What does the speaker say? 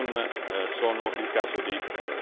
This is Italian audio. È in Egitto, dove esiste un problema.